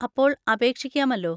അപ്പോൾ അപേക്ഷിക്കാമല്ലോ.